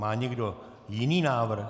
Má někdo jiný návrh?